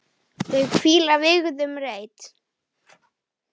Þau hvíla í vígðum reit.